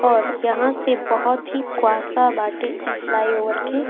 और यहाँ से बहुत ही कुहासा बाटे इ फ्लाई ओवर के --